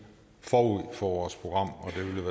forud for vores program